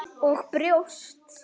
Og brjóst.